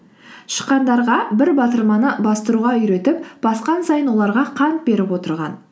тышқандарға бір батырманы бастыруға үйретіп басқан сайын оларға қант беріп отырған